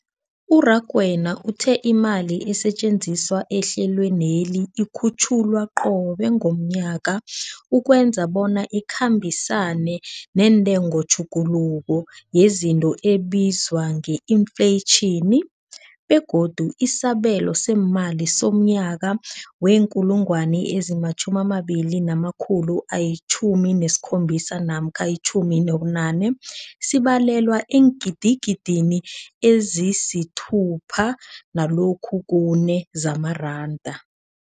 U-Rakwena uthe imali esetjenziswa ehlelweneli ikhutjhulwa qobe ngomnyaka ukwenzela bona ikhambisane nentengotjhuguluko yezinto ebizwa nge-infleyitjhini, begodu isabelo seemali somnyaka we-2017 namkha 18 sibalelwa eengidigidini ezisi-6.4 zamaranda.